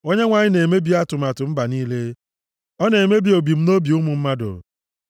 Onyenwe anyị na-emebi atụmatụ mba niile; ọ na-emebi ebumnobi ụmụ mmadụ.